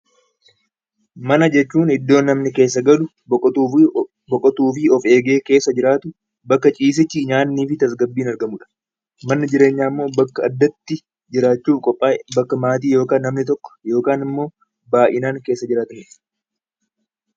Mana jechuun iddoo namni keessa galuu, boqotuu fi of eegee keessa jiraatu bakka ciisichi, nyaatni, tasgabbiin argamudha. Bakki jireenyaa immoo addatti jiraachuuf qophaaye bakka maatiin yookaan baay'inaan keessa jiraatanidha .